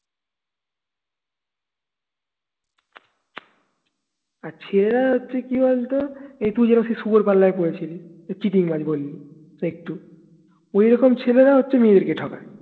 আর ছেলেরা হচ্ছে কি বলতো এই তুই যেমন শুভর পাল্লায় পড়েছিলি cheating বাজ বললি ঐরকম ছেলেরা হচ্ছে মেয়েদের ঠকায়